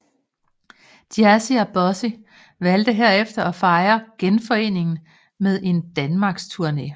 Jazzy og Bossy valgte herefter at fejre genforeningen med en danmarks tourné